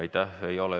Aitäh!